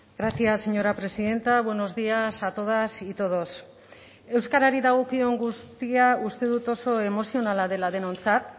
gracias señora presidenta buenos días a todas y todos euskarari dagokion guztia uste dut oso emozionala dela denontzat